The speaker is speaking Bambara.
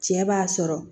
Cɛ b'a sɔrɔ